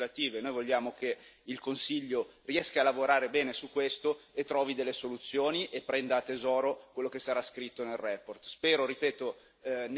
Il problema poi è nelle proposte legislative noi vogliamo che il Consiglio riesca a lavorare bene su questo e trovi delle soluzioni e prenda a tesoro quello che sarà scritto nella relazione.